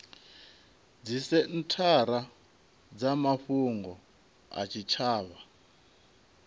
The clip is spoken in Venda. dzisenthara dza mafhungo a zwitshavha